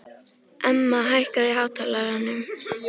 Emma, hækkaðu í hátalaranum.